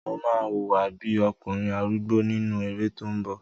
Mo máa hùwà bí okùnrin arúgbó nínú eré tó n bọ̀